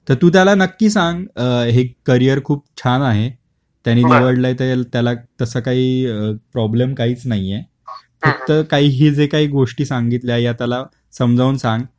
तर तू त्याला नक्की सांग अ हे करियर खूप छान आहे. त्यानी निवडलाय तर त्याला तस काही प्रॉब्लम काहीच नाही आहे